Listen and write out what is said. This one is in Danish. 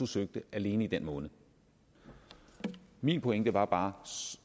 søgte alene i den måned min pointe var bare